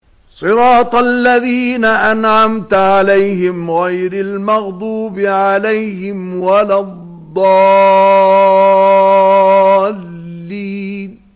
صِرَاطَ الَّذِينَ أَنْعَمْتَ عَلَيْهِمْ غَيْرِ الْمَغْضُوبِ عَلَيْهِمْ وَلَا الضَّالِّينَ